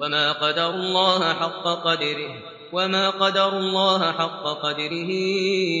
وَمَا قَدَرُوا اللَّهَ حَقَّ قَدْرِهِ